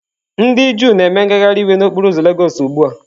Ndị Juu na-eme ngagharị iwe n'okporo ụzọ lagos ugbu a.